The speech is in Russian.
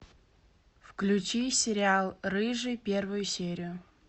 включи сериал рыжий первую серию